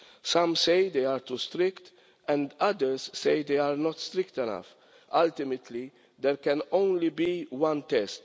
Some say they are too strict and others say they are not strict enough. Ultimately there can only be one test.